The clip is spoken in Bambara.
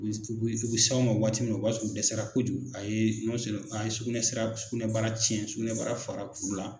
u bɛ s'anw ma waati min o b'a sɔrɔ o dɛsɛra kojugu a ye a ye sugunɛsira sugunɛbara cɛn sugunɛbara fara kuru la.